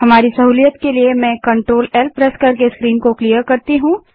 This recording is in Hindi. हमारी सहूलियत के लिए मैं CTRLL प्रेस करके स्क्रीन को साफ करती हूँ